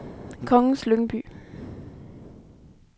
Kongens Lyngby